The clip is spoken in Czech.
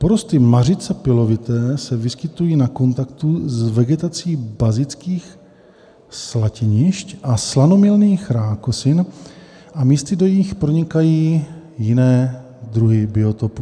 Porosty mařice pilovité se vyskytují na kontaktu s vegetací bazických slatinišť a slanomilných rákosin a místy do nich pronikají jiné druhy biotopů.